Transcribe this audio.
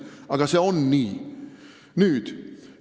Aga see on nii!